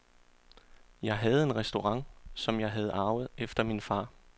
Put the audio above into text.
Jeg havde en restaurant, som jeg havde arvet efter min far.